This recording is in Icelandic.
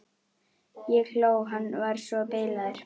Ég hló, hann var svo bilaður.